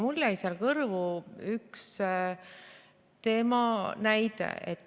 Mulle jäi seal kõrvu üks tema näide.